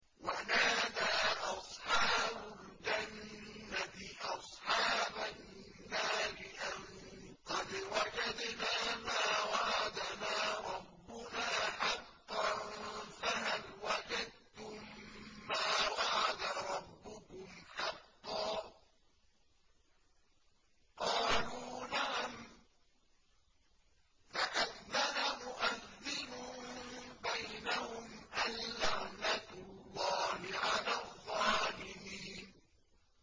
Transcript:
وَنَادَىٰ أَصْحَابُ الْجَنَّةِ أَصْحَابَ النَّارِ أَن قَدْ وَجَدْنَا مَا وَعَدَنَا رَبُّنَا حَقًّا فَهَلْ وَجَدتُّم مَّا وَعَدَ رَبُّكُمْ حَقًّا ۖ قَالُوا نَعَمْ ۚ فَأَذَّنَ مُؤَذِّنٌ بَيْنَهُمْ أَن لَّعْنَةُ اللَّهِ عَلَى الظَّالِمِينَ